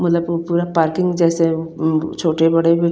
parking जेसे अम्म छोटे बड़े --